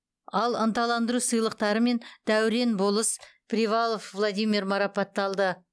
ал ынталандыру сыйлықтарымен дәурен болыс привалов владимир марапатталды